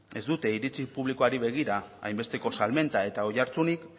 ez dute iritzi publikoari begira hainbesteko salmenta eta oihartzunik